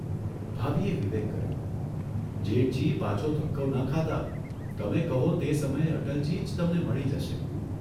ભાભીએ વિવેક કર્યો, ' જેઠજી પાછો ધક્કો ન ખાતા તમે કહો તે સમયે અટલજી જ તમને મળી જશે.